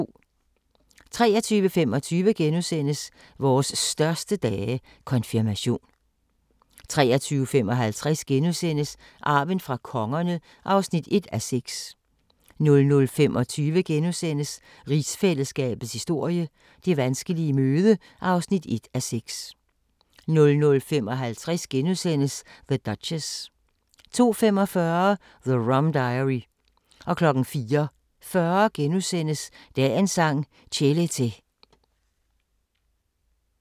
23:25: Vores største dage – Konfirmation * 23:55: Arven fra kongerne (1:6)* 00:25: Rigsfællesskabets historie: Det vanskelige møde (1:6)* 00:55: The Duchess * 02:45: The Rum Diary 04:40: Dagens Sang: Chelete *